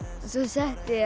svo setti